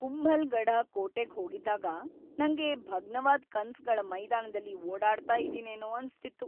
ಕುಂಭಲ್‌ಗಢ ಕೋಟೆಗ್ ಹೋಗಿದ್ದಾಗ ನಂಗೆ ಭಗ್ನವಾದ್ ಕನ್ಸ್‌ಗಳ ಮೈದಾನದಲ್ಲಿ ಓಡಾಡ್ತಾ ಇದೀನೇನೋ ಅನ್ಸ್ತಿತ್ತು.